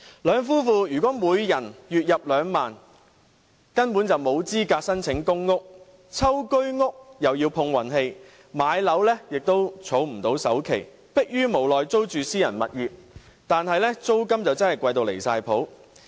兩夫婦如果每人月入2萬元，根本沒有資格申請公屋，抽居屋又要碰運氣，想買樓又儲不到首期，逼於無奈要租住私人物業，租金真的貴得離譜。